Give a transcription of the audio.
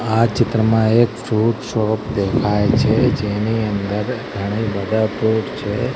આ ચિત્રમાં એક ફ્રુટ શોપ દેખાય છે જેની અંદર ઘણી બધા ફ્રુટ છે.